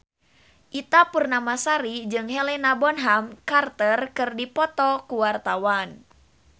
Ita Purnamasari jeung Helena Bonham Carter keur dipoto ku wartawan